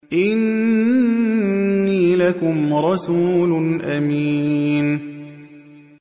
إِنِّي لَكُمْ رَسُولٌ أَمِينٌ